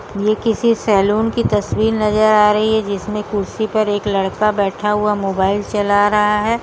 ये किसी सैलून की तस्वीर नजर आ रही है जिसमें कुर्सी पर एक लड़का बैठा हुआ मोबाईल चला रहा है।